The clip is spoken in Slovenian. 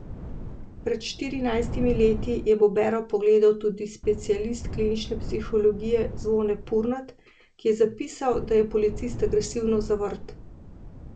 Pred štirinajstimi leti je Bobero pregledal tudi specialist klinične psihologije Zvone Purnat, ki je zapisal, da je policist agresivno zavrt.